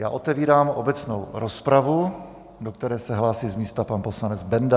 Já otevírám obecnou rozpravu, do které se hlásí z místa pan poslanec Benda.